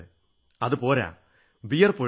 അതുപോരാ വിയർപ്പൊഴിക്കണം